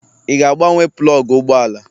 Ị ga-agbanwe plọgụ ụgbọ ala?